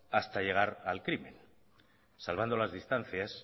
hasta llegar al crimen salvando las distancias